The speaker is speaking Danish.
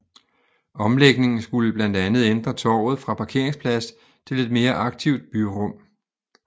Omlægningen skulle blandt andet ændre torvet fra parkeringsplads til et mere aktivt byrum